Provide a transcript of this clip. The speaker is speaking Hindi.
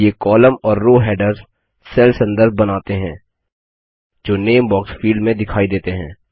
ये कॉलम और रो हैडर्स सेल संदर्भ बनाते हैं जो नामे बॉक्स फील्ड में दिखाई देते हैं